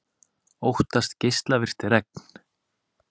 Óttast geislavirkt regn